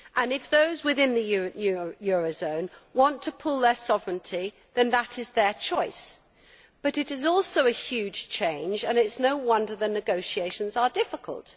If those within the euro area want to pool their sovereignty then that is their choice, but it is also a huge change and it is no wonder the negotiations are difficult.